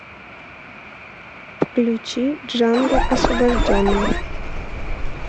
включи джанго освобожденный